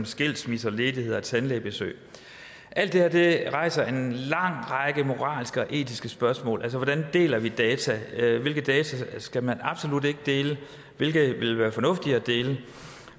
skilsmisse ledighed og tandlægebesøg alt det her rejser en lang række moralske og etiske spørgsmål altså hvordan deler vi data hvilke data skal man absolut ikke dele hvilke vil være fornuftige at dele